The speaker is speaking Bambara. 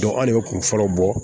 anw de kun fɔlɔ bɔ